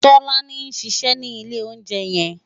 Tolani n ṣiṣè ni ilé óunjè yèn